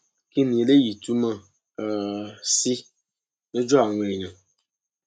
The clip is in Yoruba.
kín ni eléyìí túmọ um sí lójú àwọn èèyàn